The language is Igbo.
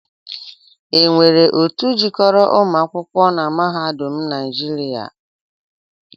E nwere otu jikoro umuakwụkọ na mahadum naịjịria?